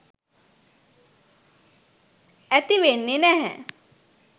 ඇති වෙන්නෙ නැහැ.